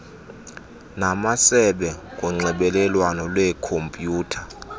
namasebe ngonxibelelwano lwekhompyutha